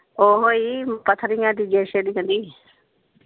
ਓਹੋ ਹੀ ਪੱਥਰੀਆਂ ਦੀ ਜਿਹੜੀ .